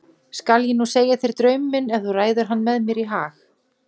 Skal ég nú segja þér draum minn ef þú ræður hann mér í hag.